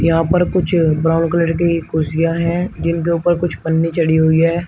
यहां पर कुछ ब्राउन कलर की कुर्सियां है जिनके ऊपर कुछ पन्नी चढ़ी हुई है।